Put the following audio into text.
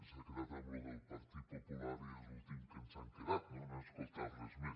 s’ha quedat en això del partit popular i és l’últim amb què ens hem quedat no no he escoltat res més